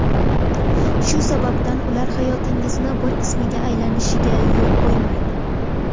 Shu sababdan ular hayotingizning bir qismiga aylanishiga yo‘l qo‘ymang.